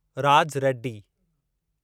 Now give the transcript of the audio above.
Raj Reddy